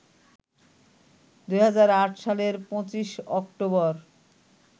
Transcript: ২০০৮ সালের ২৫ অক্টোবর